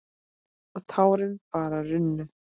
Og tárin bara runnu.